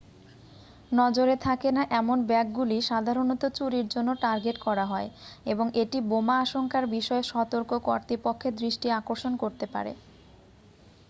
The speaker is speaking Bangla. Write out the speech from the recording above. নজরে থাকে না এমন ব্যাগগুলি সাধারণত চুরির জন্য টার্গেট করা হয় এবং এটি বোমা আশঙ্কার বিষয়ে সতর্ক কর্তৃপক্ষের দৃষ্টি আকর্ষণ করতে পারে